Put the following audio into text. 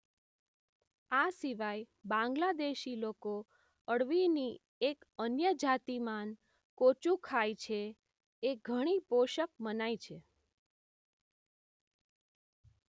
આ સિવાય બાંગ્લાદેશી લોકો અળવીની એક અન્ય જાતિ માન કોચૂ ખાય છે એ ઘણી પોષક મનાય છે